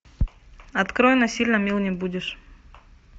открой насильно мил не будешь